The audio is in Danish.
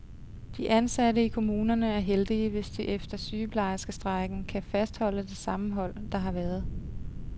De ansatte i kommunerne er heldige, hvis de efter sygeplejerskestrejken kan fastholde det sammenhold, der har været.